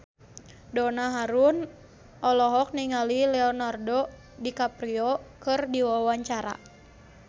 Donna Harun olohok ningali Leonardo DiCaprio keur diwawancara